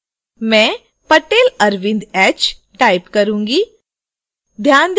मैं patel arvind h type करुँगी